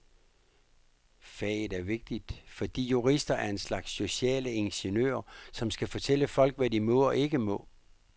Faget er vigtigt, fordi jurister er en slags sociale ingeniører, som skal fortælle folk, hvad de må og ikke må.